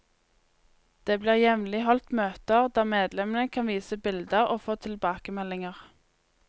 Det blir jevnlig holdt møter, der medlemmene kan vise bilder og få tilbakemeldinger.